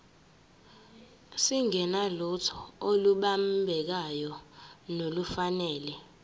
singenalutho olubambekayo nolufanele